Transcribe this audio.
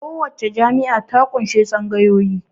Kowace jami'a ta ƙunshi tsangayoyi